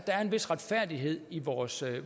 er en vis retfærdighed i vores